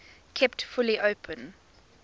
kept fully open